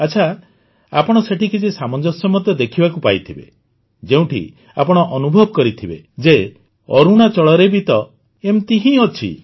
ଆଚ୍ଛା ଆପଣ ସେଠି କିଛି ସାମଞ୍ଜସ୍ୟ ମଧ୍ୟ ଦେଖିବାକୁ ପାଇଥିବେ ଯେଉଁଠି ଆପଣ ଅନୁଭବ କରିଥିବେ ଯେ ଅରୁଣାଚଳରେ ବି ତ ଏମିତି ହିଁ ଅଛି